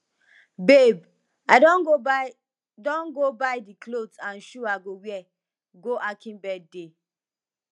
babe i don go buy don go buy the cloth and shoe i go wear go akin birthday